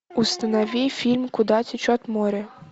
установи фильм куда течет море